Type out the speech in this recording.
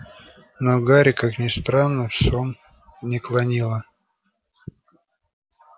но гарри как ни странно в сон не клонило